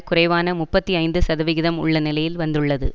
குறைவான முப்பத்தி ஐந்து சதவிகிதம் உள்ள நிலையில் வந்துள்ளது